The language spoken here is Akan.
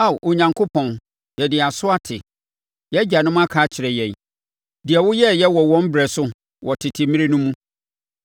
Ao Onyankopɔn, yɛde yɛn aso ate; yɛn agyanom aka akyerɛ yɛn; deɛ woyɛeɛ wɔ wɔn berɛ so, wɔ tete mmerɛ no mu.